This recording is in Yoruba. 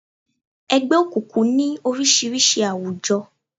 Ẹgbẹ́ òkùnkùn ní oríṣiríṣi àwùjọ.